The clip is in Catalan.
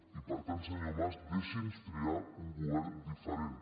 i per tant senyor mas deixi’ns triar un govern diferent